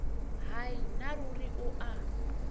hai nna ruri o a